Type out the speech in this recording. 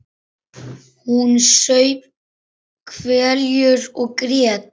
Hún saup hveljur og grét.